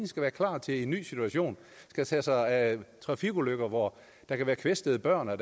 skal være klar til en ny situation og tage sig af trafikulykker hvor der kan være kvæstede børn og